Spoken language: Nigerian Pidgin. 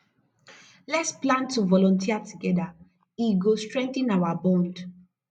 lets plan to volunteer together e go strengthen our bond